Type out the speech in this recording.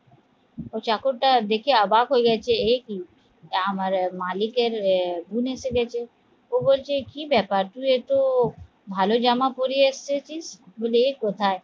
ওই চাকরা দেখে অবাক হয়ে গেছে এ কি আমার মালিকের গুন্ আছে গাছে ও বলছে কি ব্যাপার তুই এতো ভালো জামা পড়ে আসতেছি? বলে এ কোথায়